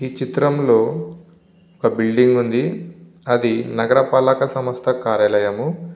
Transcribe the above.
ఈ చిత్రం లో ఒక బిల్డింగ్ ఉంది. అది నగర పాలక సంస్థ కార్యాలయము.